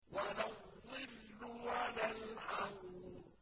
وَلَا الظِّلُّ وَلَا الْحَرُورُ